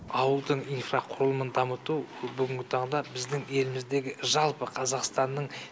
ауылдың инфрақұрылымын дамыту бүгінгі таңда біздің еліміздегі жалпы қазақстанның